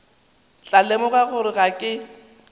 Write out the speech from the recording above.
tla lemoga gore ga ke